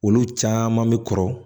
Olu caman bɛ kɔrɔ